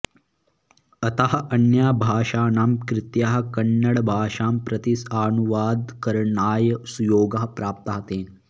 अतः अन्याभाषाणां कृतयः कन्नडभाषां प्रति अनुवादकरणाय सुयोगः प्राप्तः तेन